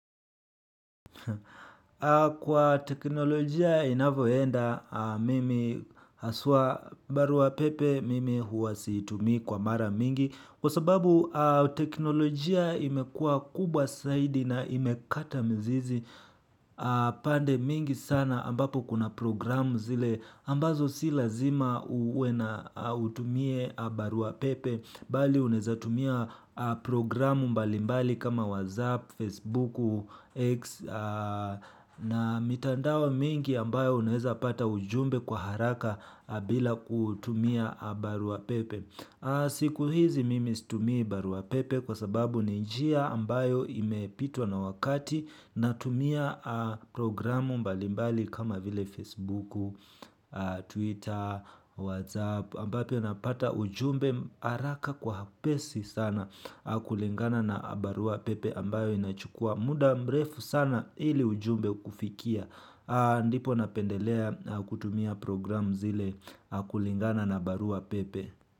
Kwa teknolojia inavoenda mimi haswa barua pepe mimi huwa situmii kwa mara mingi. Kwa sababu teknolojia imekua kubwa zaidi na imekata mizizi pande mingi sana ambapo kuna programu zile ambazo si lazima uwe na au utumie baruapepe bali unaweza tumia programu mbalimbali kama WhatsApp, Facebook, X na mitandao mingi ambayo unaweza pata ujumbe kwa haraka bila kutumia baruapepe. Siku hizi mimi situmii barua pepe kwa sababu ni njia ambayo imepitwa na wakati na tumia programu mbalimbali kama vile Facebook, Twitter, Whatsapp ambapo napata ujumbe haraka kwa upesi sana kulingana na barua pepe ambayo inachukua muda mrefu sana ili ujumbe kufikia ndipo napendelea kutumia programu zile kulingana na barua pepe.